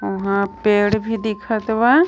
ऊहां पेड़ भी दिखत बा।